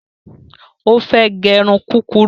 Ó fẹ́ gẹ irun kúrurú